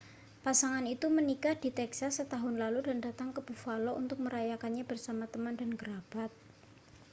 pasangan itu menikah di texas setahun lalu dan datang ke buffalo untuk merayakannya bersama teman dan kerabat